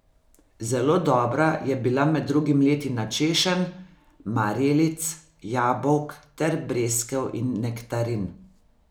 Zelo dobra je bila med drugim letina češenj, marelic, jabolk ter breskev in nektarin.